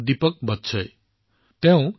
এইটো দীপক বৎসজীৰ দ্বাৰা প্ৰেৰণ কৰা হৈছে